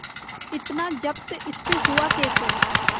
इतना जब्त इससे हुआ कैसे